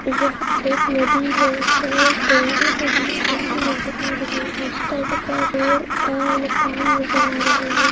यह एक नदी है शायद गंगा नदी जैसी नजर आ रही है इस तट पर पेड़ और मकान नजर आ रहे है।